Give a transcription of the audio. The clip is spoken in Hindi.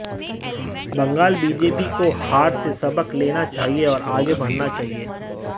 बंगाल बीजेपी की को हार से सबक लेना चाहिए और आगे बढ़ना चाहिए